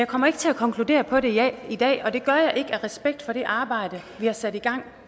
kommer ikke til at konkludere på det i dag og det gør jeg ikke af respekt for det arbejde vi har sat i gang